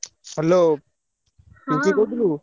Hello କହୁଥିଲୁ?